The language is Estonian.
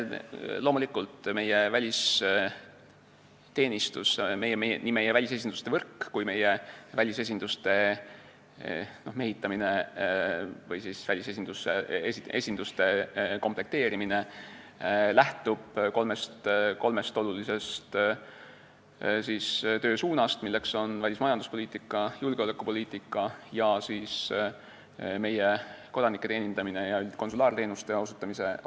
Loomulikult, meie välisteenistus, nii meie välisesinduste võrk kui ka meie välisesinduste mehitamine või komplekteerimine lähtub kolmest olulisest töösuunast: välismajanduspoliitika, julgeolekupoliitika ning meie kodanike teenindamine ja konsulaarteenuste osutamine.